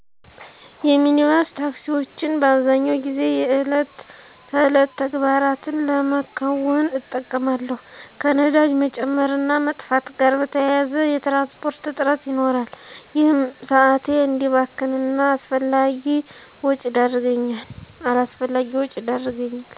የሚኒባስ ታክሲወችን በአብዛኛው ጊዜ የዕለት ተዕለት ተግባራትን ለመከወን እጠቀማለሁ። ከነዳጅ መጨመር እና መጥፋት ጋር በተያያዘ የትራንስፖርት እጥረት ይኖራል። ይህም ሰአቴ እዲባክን እና አላስፈላጊ ወጪ ይዳረገኛል።